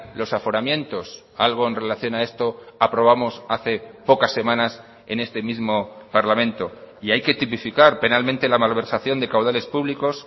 los aforamientos algo en relación a esto aprobamos hace pocas semanas en este mismo parlamento y hay que tipificar penalmente la malversación de caudales públicos